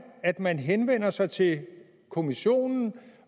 at man henvender sig til kommissionen